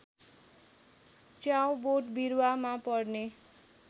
च्याउ बोटबिरूवामा पर्ने